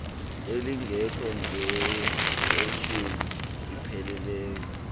elingekho ngqeshweni ipheleleyo